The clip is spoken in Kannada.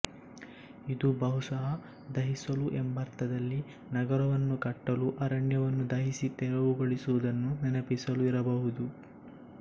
ಇದು ಬಹುಶಃ ದಹಿಸಲು ಎಂಬರ್ಥದಲ್ಲಿ ನಗರವನ್ನು ಕಟ್ಟಲು ಅರಣ್ಯವನ್ನು ದಹಿಸಿ ತೆರವುಗೊಳಿಸಿದ್ದನ್ನು ನೆನಪಿಸಲು ಇರಬಹುದು